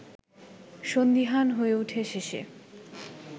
সন্দিহান হয়ে ওঠে শেষে